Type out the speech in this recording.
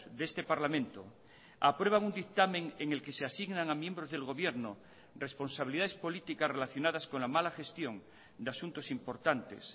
de este parlamento aprueban un dictamen en el que se asignan a miembros del gobierno responsabilidades políticas relacionadas con la mala gestión de asuntos importantes